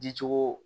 Dicogo